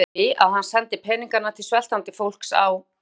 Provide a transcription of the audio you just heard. Laug hann því, að hann sendi peninga til sveltandi fólks á